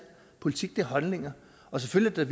politik er holdninger og selvfølgelig er